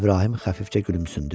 İbrahim xəfifcə gülümsündü.